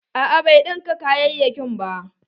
A'a bai ɗinka kayayakin ba.